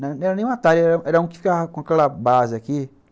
Não era nem o Atari, era um que ficava com aquela base aqui.